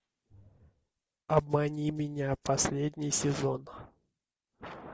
обмани меня последний сезон